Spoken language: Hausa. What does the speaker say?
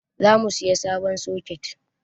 Za mu saya sabon soket